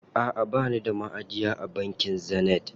Aʼa bani da maʼajiya a bankin Zenith.